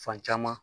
Fan caman